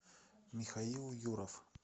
михаил юров